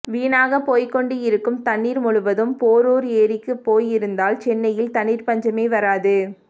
வீணாகப்போய்க் கொண்டு இருக்கும் தண்ணீர் முழுவதும் போரூர் ஏரிக்குப் போய் இருந்தால் சென்னையில் தண்ணீர் பஞ்சமே வராது